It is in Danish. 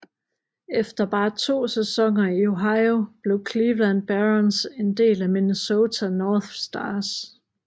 Efter bare to sæsoner i Ohio blev Cleveland Barons en del af Minnesota North Stars